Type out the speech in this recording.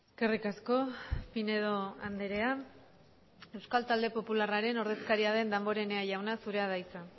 eskerrik asko pinedo andrea euskal talde popularraren ordezkaria den damborenea jauna zurea da hitza